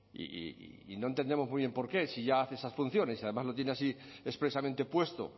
y no entendemos muy bien por qué si ya hace esas funciones y además lo tiene así expresamente puesto